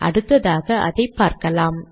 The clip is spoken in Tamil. அடுத்ததாக அதை பார்க்கலாம்